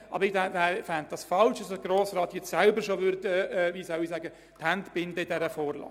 Aber ich fände es falsch, wenn sich der Grosse Rat jetzt schon selber die Hände binden würde.